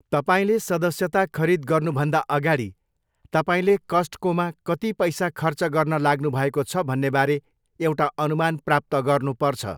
तपाईँले सदस्यता खरिद गर्नुभन्दा अगाडि, तपाईँले कस्टकोमा कति पैसा खर्च गर्न लाग्नुभएको छ भन्नेबारे एउटा अनुमान प्राप्त गर्नुपर्छ।